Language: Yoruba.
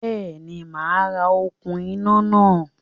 Béèni, màá ra okún iná náà